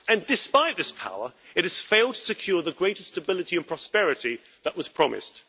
Despite this power, it has failed to secure the greater stability and prosperity that was promised.